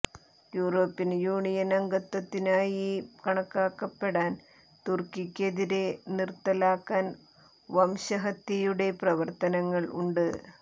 European Union അംഗത്വത്തിനായി കണക്കാക്കപ്പെടാൻ തുർക്കിക്കെതിരെ നിർത്തലാക്കാൻ വംശഹത്യയുടെ പ്രവർത്തനങ്ങൾ ഉണ്ട്